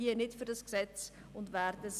es geht um einige 100 000 Franken.